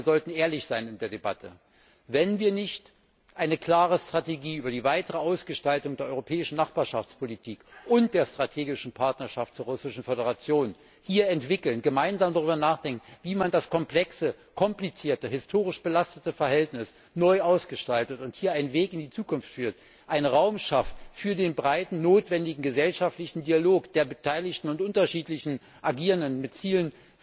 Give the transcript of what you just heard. Ich meine, wir sollten ehrlich sein in der Debatte Wenn wir hier nicht eine klare Strategie für die weitere Ausgestaltung der Europäischen Nachbarschaftspolitik und der strategischen Partnerschaft zur Russischen Föderation entwickeln, gemeinsam darüber nachdenken, wie man das komplexe, komplizierte, historisch belastete Verhältnis neu ausgestaltet und hier einen Weg in die Zukunft findet, einen Raum schafft für den breiten, notwendigen gesellschaftlichen Dialog der beteiligten und unterschiedlich agierenden, mit Zielen